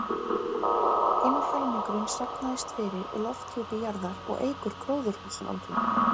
Hinn helmingurinn safnast fyrir í lofthjúpi jarðar og eykur gróðurhúsaáhrif.